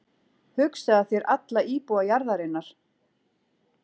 Hugsaðu þér alla íbúa jarðarinnar.